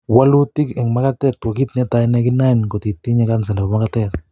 Walutik en magatek ko kiit netai nekinoen kot itinye kansa nebo magatet